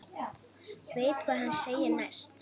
Veit hvað hann segir næst.